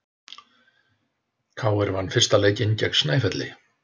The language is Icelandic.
KR vann fyrsta leikinn gegn Snæfelli